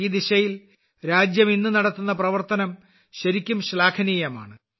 ഈ ദിശയിൽ രാജ്യം ഇന്ന് നടത്തുന്ന പ്രവർത്തനം ശരിക്കും ശ്ലാഘനീയമാണ്